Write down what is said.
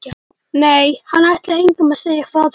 Nei, hann ætlaði engum að segja frá þessu.